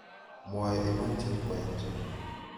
Mwoe iman Chepkoech.